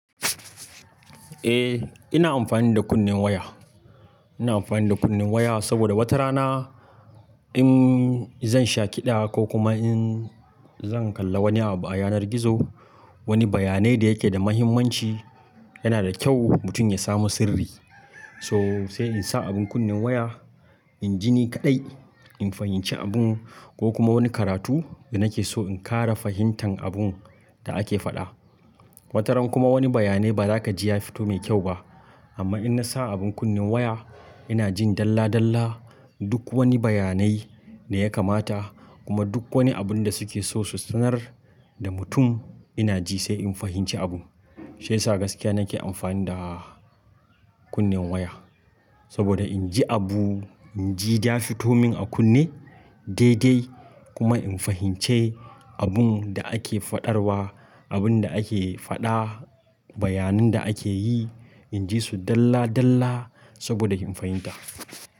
E, ina amfani da kunnen waya. Ina amfani da kunnen waya, saboda wata rana in zan sha ƙiɗa ko kuma in zan kalla wani abu a yanar gizo, wani bayanai da yake da muhimmanci yana da kyau mutum ya samu sirri. To, sai in sa abin kunnen waya, in ji ni kaɗai, in fahimci abun ko kuma wani karatu da nake so in ƙara fahimtan abun da ake faɗa. Wata ran kuma wani bayanai ba zaka ji ya fito mai kyau ba amma in na sa abin kunnen waya ina jin dalla-dalla duk wani bayanai da ya kamata kuma duk wani abun da suke so su sanar da mutum ina ji sai in fahimci abun. Shiyasa gaskiya nake amfani da kunnen waya saboda in ji abu, in ji ya fito min a kunne daidai kuma in fahimci abun da ake faɗarwa, abun da ake faɗa, bayanin da ake yi in ji su dalla dalla saboda in fahimta.